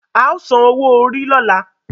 ao san owó Orí lola.